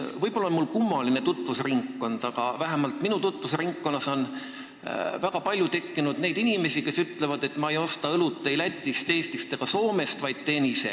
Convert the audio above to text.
Võib-olla on mul kummaline tutvusringkond, aga minu tuttavate hulgas on väga palju inimesi, kes ütlevad, et nad ei osta õlut ei Lätist, Eestist ega Soomest, vaid teevad seda ise.